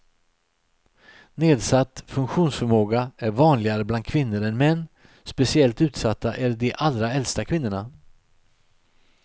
Nedsatt funktionsförmåga är vanligare bland kvinnor än män, speciellt utsatta är de allra äldsta kvinnorna.